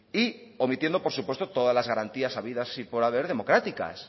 y omitiendo por supuesto todas las garantías habidas y por haber democráticas